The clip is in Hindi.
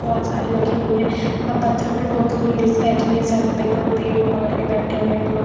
बहुत सारी लगी हुई हैं और पत्रों पे बहुत उम लेडीज़ बैठी हुई हैं सारी पेपरों पे एक को पकड़ के बैठे हुए हैं लोग।